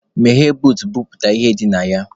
Meghee buut, bupute ihe dị na ya!